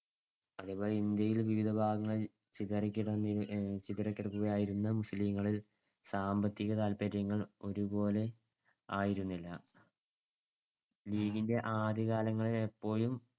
അതേപോലെ ഇന്ത്യയിൽ വിവിധ ഭാഗങ്ങളിൽ ചിതറികിടക്കുകയായിരുന്ന മുസ്ലീംങ്ങൾ സാമ്പത്തിക താത്പര്യങ്ങൾ ഒരുപോലെയായിരുന്നില്ല. ലീഗിന്‍ടെ ആദ്യകാലങ്ങളിലെപ്പോളും